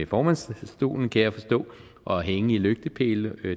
formandsstolen kan jeg forstå og hænge i lygtepæle